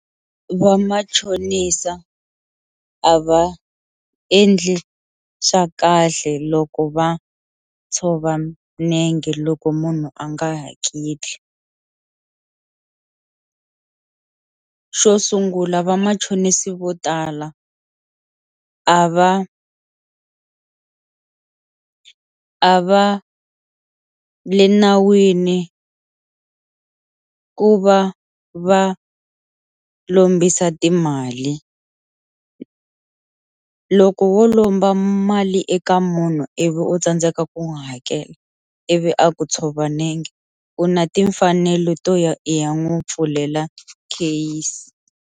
Va machonisa a va endli swa kahle loko va tshova nenge loko munhu a nga hakeli, xo sungula vamachonisi vo tala a va a va le nawini ku va va lombisa timali, loko wo lomba mali eka munhu ivi u tsandzeka ku n'wi hakela ivi a ku tshovaka nenge u na timfanelo to ya i ya n'wi pfulela case.